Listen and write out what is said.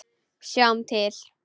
Sjáum til.